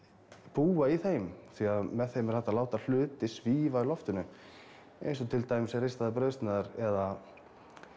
búa í þeim því með þeim er hægt að láta hluti svífa í loftinu eins og til dæmis ristaðar brauðsneiðar eða